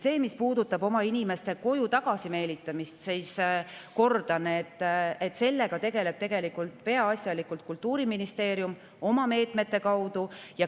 Mis puudutab inimeste koju tagasi meelitamist, siis kordan, et sellega tegeleb peaasjalikult Kultuuriministeerium oma meetmete kaudu.